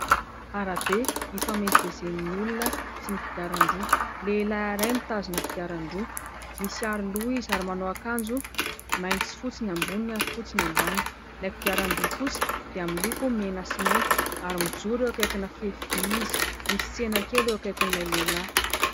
Arabe ifamezivezen'ny olona sy ny kodiaran-droa, lehilahy iray mitazona kodiaran-droa, misy aroloha izy ary manao akanjo mainty sy fotsy ny ambony ary fotsy ny ambany, ilay kodiaran-droa kosa dia miloko mena sy mainty ary mijoro eo ankaikina fefy vy izy, misy tsena kely eo akaikin'ilay lehilahy.